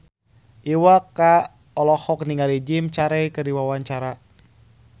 Iwa K olohok ningali Jim Carey keur diwawancara